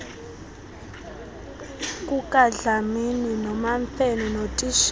kukadlamini nomamfene notitshala